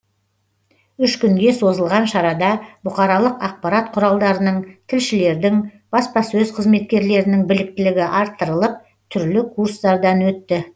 үш күнге созылған шарада бұқаралық ақпарат құралдарының тілшілердің баспасөз қызметкерлерінің біліктілігі арттырылып түрлі курстардан өтті